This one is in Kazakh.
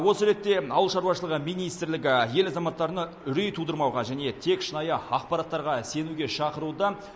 осы ретте ауыл шаруашылығы министрлігі ел азаматтарына үрей тудырмауға және тек шынайы ақпараттарға сенуге шақыруда